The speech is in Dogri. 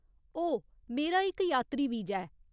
ओह्, मेरा इक यात्री वीजा ऐ।